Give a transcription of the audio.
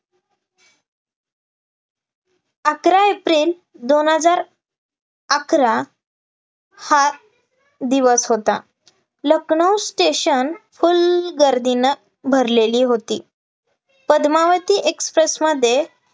अकरा एप्रिल दोन हजार अकरा हा दिवस होता लखनौ station full गर्दीनं भरलेली होती, पद्मावती express मध्ये